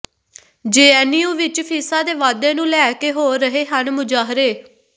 JNU ਵਿੱਚ ਫੀਸਾਂ ਦੇ ਵਾਧੇ ਨੂੰ ਲੈ ਕੇ ਹੋ ਰਹੇ ਹਨ ਮੁਜ਼ਾਹਰੇ